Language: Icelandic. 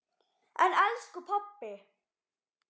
En elsku pabbi!